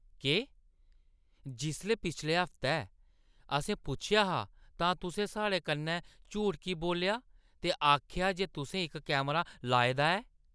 केह्? जिसलै पिछले हफ्तै असें पुच्छेआ हा तां तुसें साढ़े कन्नै झूठ की बोल्लेआ ते आखेआ जे तुसें इक कैमरा लाए दा ऐ?